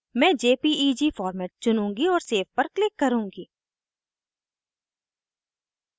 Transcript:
मैं jpeg format चुनूँगी और सेव पर क्लिक करुँगी